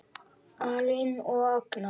Elín og Agnar.